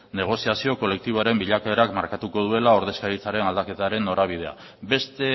negoziazio kolektiboaren bilakaerak markatuko duela ordezkaritzaren aldaketaren norabidea beste